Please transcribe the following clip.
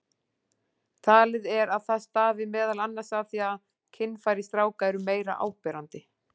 Talið er að það stafi meðal annars af því að kynfæri stráka eru meira áberandi.